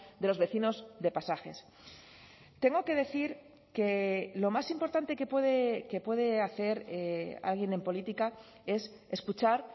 de los vecinos de pasajes tengo que decir que lo más importante que puede hacer alguien en política es escuchar